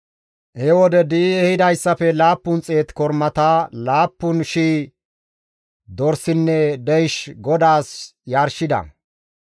He wode di7i ehidayssafe 700 kormata, 7,000 dorsinne deysh GODAAS yarshida.